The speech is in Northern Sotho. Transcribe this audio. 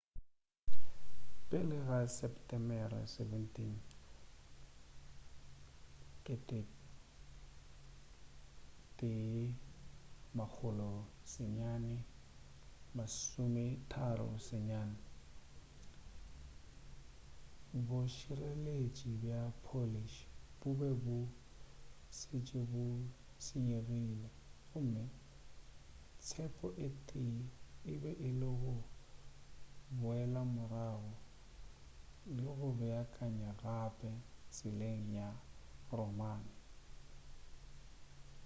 pele ga di setemere 17 1939 bošireletši bja polish bo be bo šetše bo senyegile gomme tshepo ye tee e be e le go boelamorago le go beakanya gape tseleng ya roman